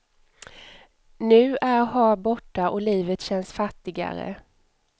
Nu är har borta och livet känns fattigare.